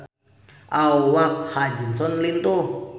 Awak Ha Ji Won lintuh